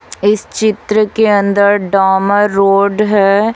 इस चित्र के अंदर डामर रोड है।